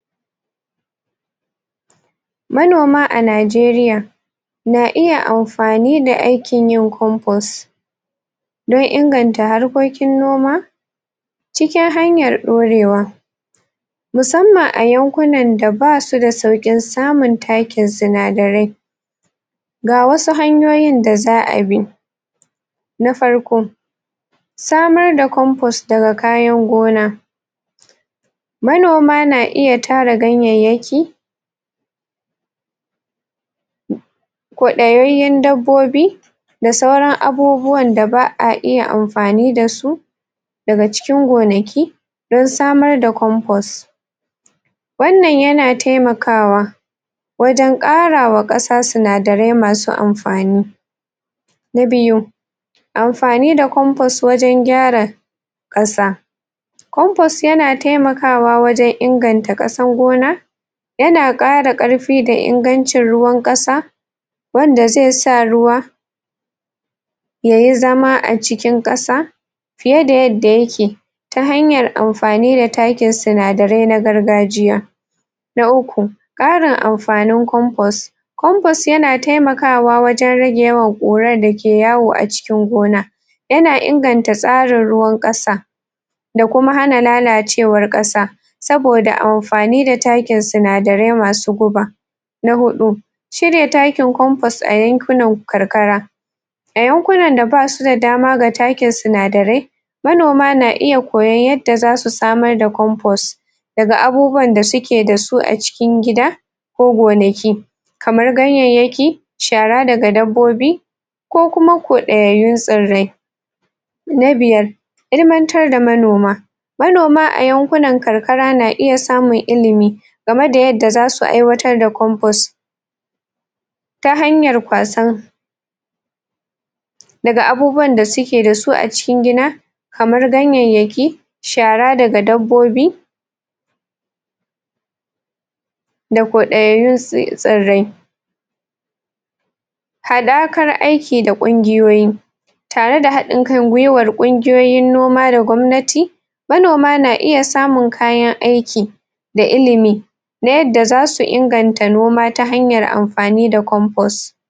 Manoma a Najeriya na iya amfani da aikin yin compost don inganta harkokin noma cikin hanyar ɗorewa musamman a yankunan da basu da sauƙin samun takin sinadarai ga wasu hanyoyin da za'a bi na farko, samar da komfus daga kayan gona manoma na iya tara ganyayyaki koɗayayyen dabbobi da sauran abubuwan da ba'a iya amfani da su daga cikin gonaki dan samar da compost wannan yana taimakawa wajen ƙara wa ƙasa sinadarai masu amfani na biyu, amfani da compost wajen gyara ƙasa compost yana taimakawa wajen inganta ƙasan gona yana ƙara ƙarfi da ingancin ruwan ƙasa wanda zai sa ruwa yayi zama a cikin ƙasa fiye da yadda yake ta hanyar amfani da takin sinadarai na gargajiya na uku, ƙarin amfanin compost compost yana taimakawa wajen rage yawan ƙurar da ke yawo a cikin gona yana inganta tsarin ruwan ƙasa da kuma hana lalacewar ƙasa saboda amfani da takin sinadarai masu guba na huɗu shirya takin compost a yankunan karkara a yankunan da basu da dama ga takin sinadarai manoma na iya koyon yadda zasu samar da compost daga abubuwan da suke da su a cikin gida ko gonaki kamar ganyayyaki shara daga dabbobi ko kuma kwaɗayayyun tsirai na biyar, ilimantar da manoma manoma a yankunan karkara na iya samun ilimi game da yadda zasu aiwatar da compost ta hanyar kwasar daga abubuwan da suke da su a cikin gida kamar ganyayyaki shara daga dabbobi da kwaɗayayyun tsirrai haɗakar aiki da ƙungiyoyi tare da haɗin kan gwuiwar ƙungiyoyin noma da gwamnati manoma na iya samun kayan aiki da ilimi na yadda zasu inganta noma ta hanyar amfani da compost.